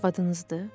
Arvadınızdır?